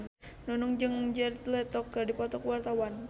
Nunung jeung Jared Leto keur dipoto ku wartawan